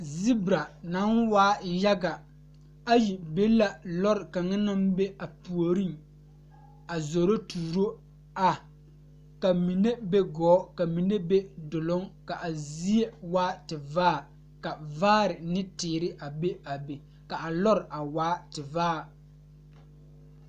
Zibira naŋ waa yaɡa ayi be la lɔre kaŋa naŋ be a puoriŋ a zoro tuuro a ka mine be ɡɔɔ ka mine be doloŋ ka a zie waa tevaare ka vaare ne teere be a be ka a lɔre waa tevaare.